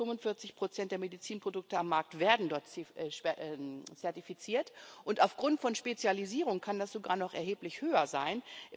30 bis 45 der Medizinprodukte am Markt werden dort zertifiziert, und aufgrund von Spezialisierung kann das sogar noch erheblich höher sein.